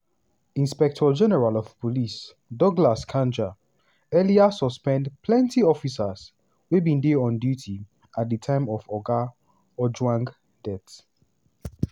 inspector-general of police douglas kanja earlier suspend plenty officers wey bin dey on duty at di time of oga ojwang death.